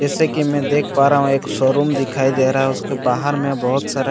जैसे कि मैं देख पा रहा हूं एक शोरूम दिखाई दे रहा उसके बाहर में बहोत सारा--